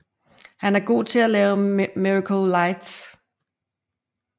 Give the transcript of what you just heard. Han er god til at lave Miracle Lights